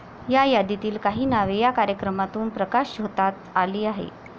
या यादीतील काही नावे या कार्यक्रमातून प्रकाशझोतात आली आहेत.